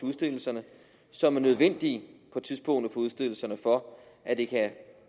udstedelserne som er nødvendige på tidspunktet for udstedelserne for at det kan